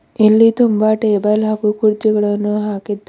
ಇಲ್ಲಿ ತುಂಬ ಟೇಬಲ್ ಹಾಗು ಕುರ್ಚಿಗಳನ್ನು ಹಾಕಿದ್ದ--